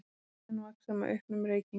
Áhrifin vaxa með auknum reykingum.